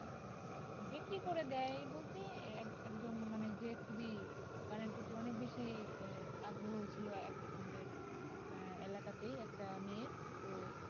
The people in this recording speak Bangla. বিক্রি করে দেয় বলতে আহ একজন মানে যে খুবই গানের প্রতি অনেক বেশি আহ আগ্রহ ছিলো একজন আমাদের আহ এলাকাতেই একটা মেয়ের তো।